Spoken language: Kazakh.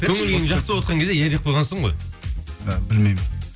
көңіл күйің жақсы болып отырған кезде иә деп қойғансың ғой і білмеймін